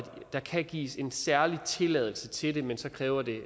der kan gives en særlig tilladelse til det men så kræver det